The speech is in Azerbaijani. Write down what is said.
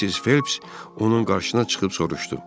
Missis Felps onun qarşısına çıxıb soruşdu: